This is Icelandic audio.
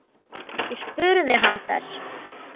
Ég spurði hann þess.